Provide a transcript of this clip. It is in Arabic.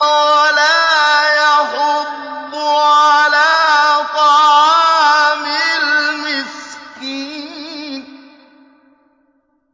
وَلَا يَحُضُّ عَلَىٰ طَعَامِ الْمِسْكِينِ